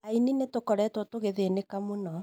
"Aini nitukoretwo tũgithĩnĩka mũno